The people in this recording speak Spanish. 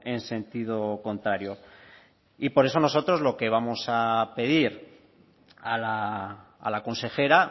en sentido contrario y por eso nosotros lo que vamos a pedir a la consejera